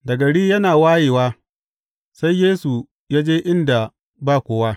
Da gari yana wayewa, sai Yesu ya je inda ba kowa.